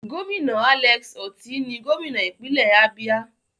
Gómìnà Alex Otti ni gómìnà ìpínlẹ̀ Abia.